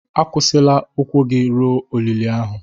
Akwụsịla ụkwụ gị ruo olili ahụ.